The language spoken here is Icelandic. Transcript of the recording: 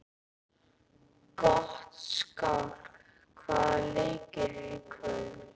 Gottskálk, hvaða leikir eru í kvöld?